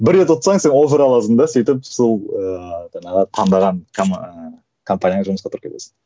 бір рет ұстаң сен аласың да сөйтіп сол ыыы жаңағы таңдаған компанияңа жұмысқа тұрып кетесің